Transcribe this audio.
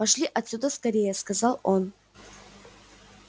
пошли отсюда скорее сказал он